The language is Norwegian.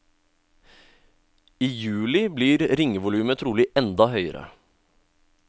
I juli blir ringevolumet trolig enda høyere.